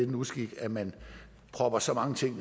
en uskik at man propper så mange ting